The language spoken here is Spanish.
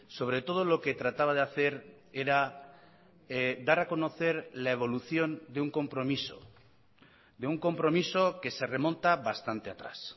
sobre todo lo que trataba de hacer era dar a conocer la evolución de un compromiso de un compromiso que se remonta bastante atrás